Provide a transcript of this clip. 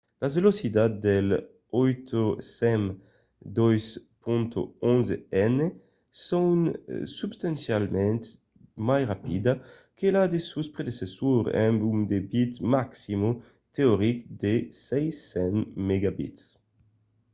las velocitats del 802.11n son substancialament mai rapidas que la de sos predecessors amb un debit maximum teoric de 600mbit/s